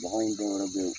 Bagan dɔwɛrɛ be yen